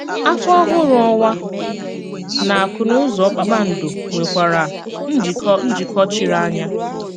Áfọ Ọ̀hụrụ Ọnwà nà àkùnúzọ kpákpándò nwèkwàrà njíkọ̀ njíkọ̀ chírì ányà.